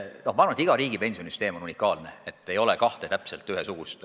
Ma arvan, et iga riigi pensionisüsteem on unikaalne, ei ole kahte täpselt ühesugust.